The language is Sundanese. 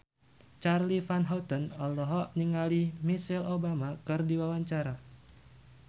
Charly Van Houten olohok ningali Michelle Obama keur diwawancara